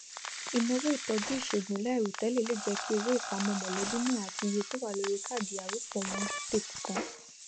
ìnáwó ìtọjú ìṣègùn láìròtẹlẹ le jẹ kí owó ìpàmọ mọlẹbí náà àti iye tó wà lórí káàdì arọpọ owó tètè tán